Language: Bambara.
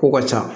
Kow ka ca